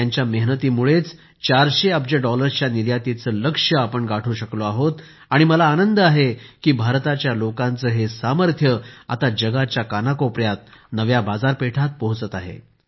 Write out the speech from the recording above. यांच्या मेहनतीमुळेच 400 अब्ज डॉलरच्या निर्यातीचे लक्ष्य गाठू शकलो आहोत आणि मला आनंद आहे की भारताच्या लोकांचे हे सामर्थ्य आता जगाच्या कानाकोपऱ्यात नव्या बाजारपेठांत पोहोचत आहे